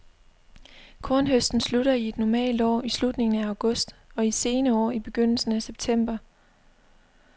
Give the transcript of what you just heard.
Kornhøsten slutter i et normalt år i slutningen af august og i sene år i begyndelsen af september.